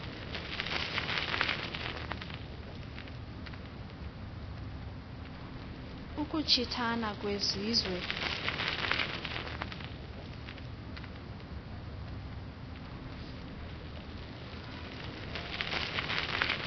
ukuchi thana kwezizwe